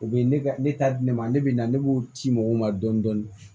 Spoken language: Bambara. U bɛ ne t'a di ne ma ne bɛ na ne b'o ci mɔgɔw ma dɔɔnin dɔɔnin